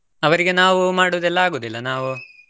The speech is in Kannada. ಅವರಿಗೆ ನಾವು ಮಾಡುದು ಆಗುದಿಲ್ಲ ನಾವು.